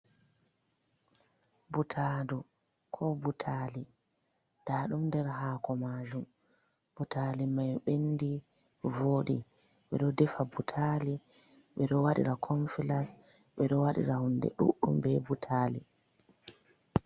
Butadu, ko butali, nda ɗum nder hako majuum ,butali mai bendi vooɗi , ɓeɗo defa butali, ɓe ɗo wadira konfilas, ɓe ɗo wadira hunde duɗɗum be butali.